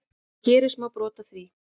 En hér er smá brot af því.